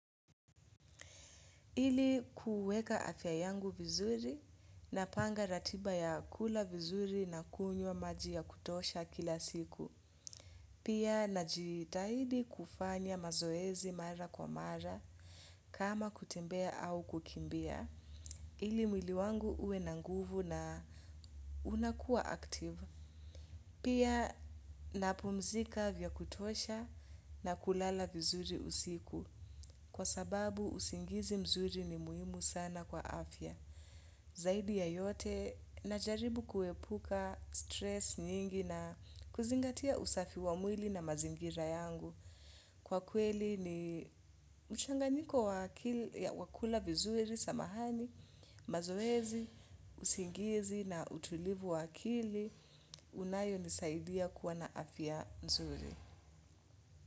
Ili kuweka afya yangu vizuri napanga ratiba ya kula vizuri na kunywa maji ya kutosha kila siku. Pia najitahidi kufanya mazoezi mara kwa mara kama kutembea au kukimbia. Ili mwili wangu uwe na nguvu na unakua active. Pia napumzika vya kutosha na kulala vizuri usiku kwa sababu usingizi mzuri ni muhimu sana kwa afya. Zaidi ya yote najaribu kuepuka stress nyingi na kuzingatia usafi wa mwili na mazingira yangu. Kwa kweli ni uchanganiko wakula vizuri samahani, mazoezi, usingizi na utulivu wakili, unayo nisaidia kuwa na afya nzuri.